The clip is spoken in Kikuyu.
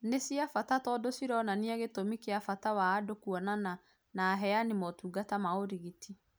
Nĩ cia bata tondũ cironania gĩtũmi kĩa bata wa andũ kuonana na aheani a motungata ma ũrigiti